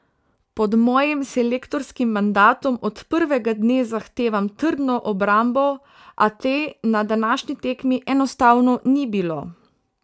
Pod mojim selektorskim mandatom od prvega dne zahtevam trdno obrambo, a te na današnji tekmi enostavno ni bilo.